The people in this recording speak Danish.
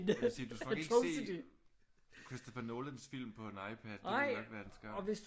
Jeg vil sige du skal nok ikke se Christopher Nolans film på en iPad. Det ville nok være en skam